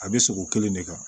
A bɛ sogo kelen de kan